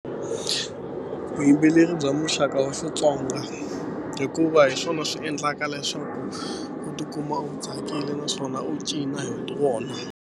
Vuyimbeleri bya muxaka wa Xitsonga hikuva hi swona swi endlaka leswaku u tikuma u tsakile naswona u cina hi wona.